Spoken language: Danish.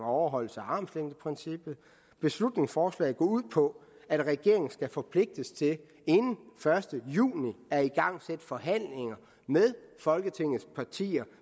og overholdelse af armslængdeprincippet beslutningsforslaget går ud på at regeringen skal forpligtes til inden den første juni at igangsætte forhandlinger med folketingets partier